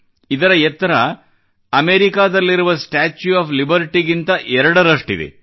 ಇದರ ಎತ್ತರ ಅಮೆರಿಕಾದಲ್ಲಿರುವ ಸ್ಟಾಚ್ಯೂ ಆಫ್ ಲಿಬರ್ಟಿಗಿಂತ ಎರಡರಷ್ಟಿದೆ